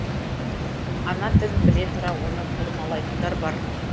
ана тілін біле тұра оны бұрмалайтындар бар